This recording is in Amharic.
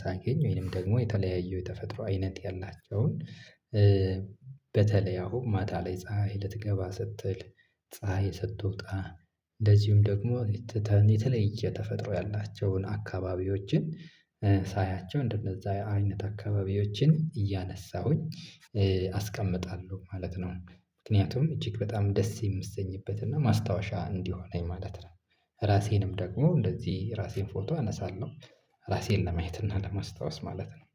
ሳገኝ ወይንም ደግሞ የተለያየው የተፈጥሮ አይነት ያላቸውን። በተለይ አሁን ማታ ላይ ፀሀይ ልትገባ ስትል ፀሀይ ስትወጣ እንደዚሁም ደግሞ ትተን የተለየ ተፈጥሮ ያላቸውን አካባቢዎችን ሳያቸው እንደነዛ አይነት አካባቢዎችን እያነሳሁኝ አስቀምጣለሁ ማለት ነው። ምክንያቱም እጅግ በጣም ደስ የምሰኝበት እና ማስታወሻ እንዲሆነኝ ማለት ነው። ራሴንም ደግሞ እንደዚህ ራሴን ፎቶ አነሳለሁ ራሴን ለማየት እና ለማስታወስ ማለት ነው